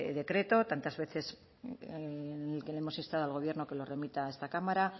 decreto tantas veces en el que le hemos instado al gobierno que lo remita a esta cámara